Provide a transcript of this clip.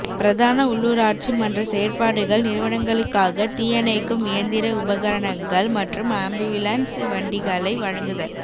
பிரதான உள்ளூராட்சி மன்ற செயற்பாடுகள் நிறுவனங்களுக்காக தீயணைக்கும் இயந்திர உபகணரங்கள் மற்றும் அம்பியுலன்ஸ் வண்டிகளை வழங்குதல்